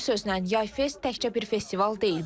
Bir sözlə, Yay Fest təkcə bir festival deyil.